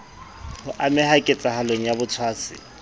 ho ameha ketsahalong ya botshwasi